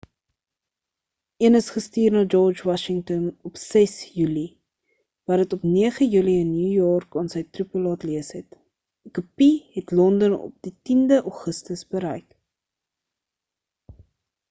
een is gestuur na george washington op 6 julie wat dit op 9 julie in new york aan sy troepe laat lees het 'n kopie het london op die 10de augustus bereik